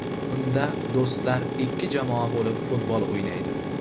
Unda do‘stlar ikki jamoa bo‘lib futbol o‘ynaydi.